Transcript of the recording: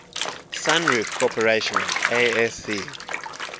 sunroof corporation asc